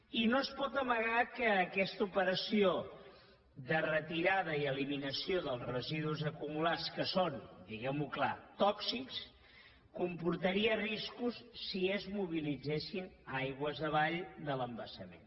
i no es pot amagar que aquesta operació de retirada i eliminació dels residus acumulats que són diguem ho clar tòxics comportaria riscos si es mobilitzessin aigües avall de l’embassament